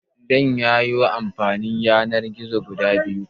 Zayyano Amfanin Yanar-gizo guda biyu?